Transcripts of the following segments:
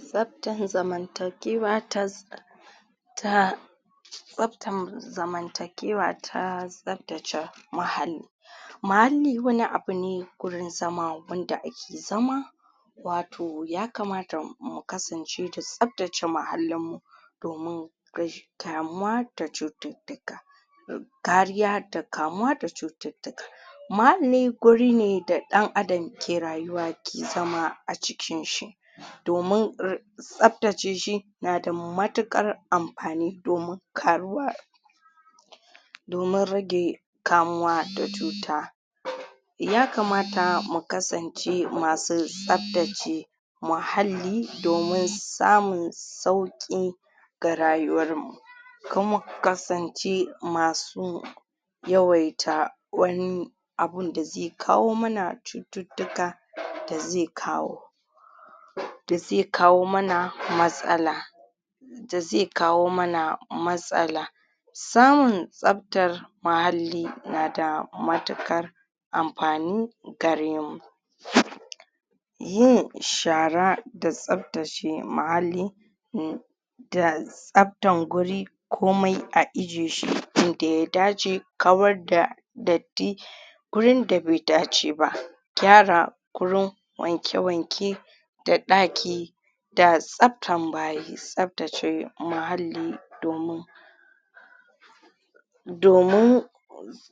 tsaftan zamantakewa ta ta tsaftan zamantakewa ta tsaftace muhalli muhalli wani abu ne gurin zama wanda ake zama wato ya kamata mu kasance da tsaftace muhallin mu domin kamuwa da cututtuka kariya da kamuwa da cututtuka muhalli guri ne da ɗan adam ke rayuwa ke zama a cikin shi domin tsaftace shi na da matuƙar amfani domin karuwa domin rage kamuwa da cuta. ya kamata mu kasance masu tsaftace muhalli domin samun sauƙi ga rayuwar mu kuma kasance masu yawaita wani abunda zai kawo mana cututtuka da zai kawo da zai kawo mana matsala da zai kawo mana matsala samun tsaftar muhalli nada matuƙar amfani gare mu yin shara da tsaftace muhalli da tsaftan guri komai a ije shi inda ya dace kawar da datti gurin da bai dace ba. gyara gurin wanke-wanke da ɗaki da tsaftan bayi. tsaftace muhalli domin domin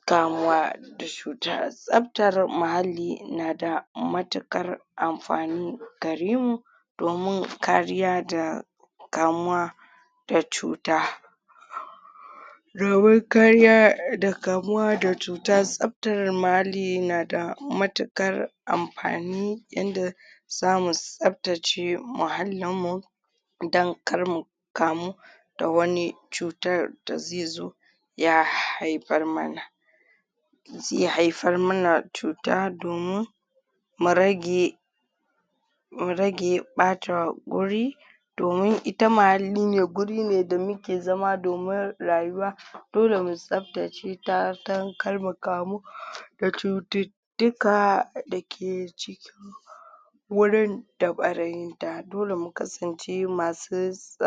kamuwa da cuta. tsaftar muhalli nada matuƙar amfani garemu domin kariya da kamuwa da cuta domin kariya da kamuwa da cuta tsaftar muhalli nada matuƙar amfani yanda zamu tsaftace muhallin mu dan karmu kamu da wani cutar da zaizo ya haifar mana zai haifar mana cuta domin zai rage mu rage ɓata guri domin ita muhalline gurine da muke zama domin rayuwa dole mu tsaftace ta dan karmu kamu da cututtuka dake ciki wurin da ɓarayin da dole mu kasance masu tsa